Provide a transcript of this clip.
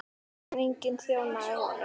En enginn þjónaði honum.